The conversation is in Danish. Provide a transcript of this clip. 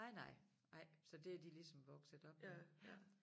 Nej nej nej så det er de ligesom vokset op med ja